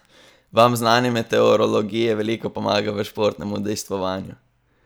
Vam znanje meteorologije veliko pomaga v športnem udejstvovanju?